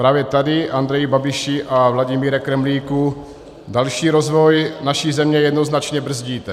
Právě tady, Andreji Babiši a Vladimíre Kremlíku, další rozvoj naší země jednoznačně brzdíte.